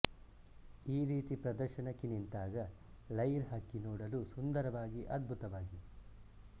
ಈ ರೀತಿ ಪ್ರದರ್ಶನಕ್ಕೆ ನಿಂತಾಗ ಲೈರ್ ಹಕ್ಕಿ ನೋಡಲು ಸುಂದರವಾಗಿ ಅದ್ಬುತವಾಗಿ